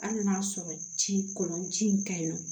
Hali n'a y'a sɔrɔ ci kɔlɔnci in ka ɲi nɔ